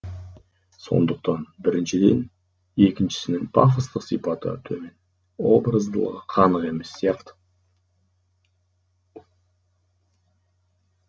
сондықтан біріншіден екіншісінің пафостық сипаты төмен образдылығы қанық емес сияқты